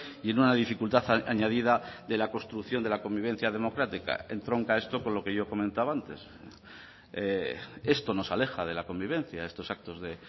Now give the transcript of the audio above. y en una dificultad añadida de la construcción de la convivencia democrática entronca esto con lo que yo comentaba antes esto nos aleja de la convivencia estos actos de